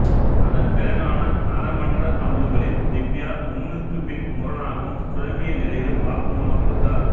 அதன் பிறகான அறமன்ற அமர்வுகளில் திவ்யா முன்னுக்குப் பின் முரணாகவும் குழம்பிய நிலையிலும் வாக்குமூலம் கொடுத்தார்